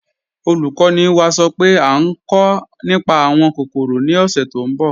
Olúkọ̀ní wá sọ́ pé à nkọ̀ nípá awọn kòkórò ni ọ̀ṣẹ̀ tó nbọ̀.